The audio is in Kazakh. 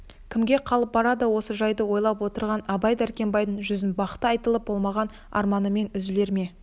кімге қалып барады осы жайды ойлай отыра абай дәркембайдың жүзін бақты айтылып болмаған арманымен үзілер ме